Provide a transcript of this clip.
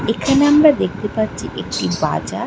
। এখানে আমরা দেখতে পাচ্ছি একটি বাজার ।